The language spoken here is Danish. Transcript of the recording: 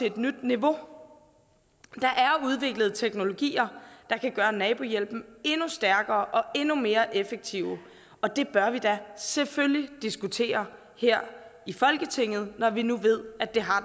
et nyt niveau der er udviklet teknologier der kan gøre nabohjælpen endnu stærkere og endnu mere effektiv og dem bør vi da selvfølgelig diskutere her i folketinget når vi nu ved at den har